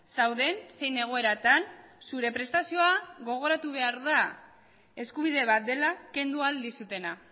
zauden zein egoeratan zure prestazioa gogoratu behar da eskubide bat dela kendu ahal dizutena